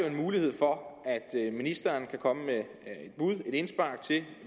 en mulighed for at ministeren kan komme med et indspark til